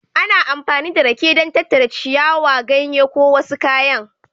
Ana amfani da rake don tattara ciyawa, ganye ko wasu kayan